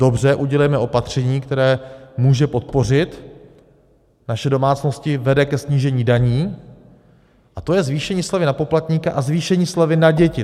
Dobře, udělejme opatření, které může podpořit naše domácnosti, vede ke snížení daní, a to je zvýšení slevy na poplatníka a zvýšení slevy na děti.